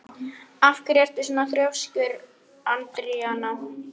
Af hverju ertu svona þrjóskur, Andríana?